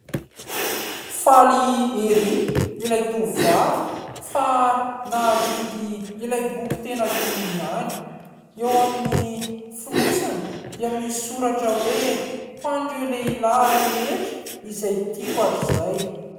Faly ery ilay tovovavy fa nahavidy ilay boky tena tiany ihany, eo amin'ny fonosany dia misy soratra hoe : ho an'ireo lehilahy rehetra izay tiako hatrizay.